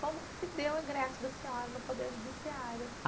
Como que se deu o ingresso da senhora no Poder Judiciário?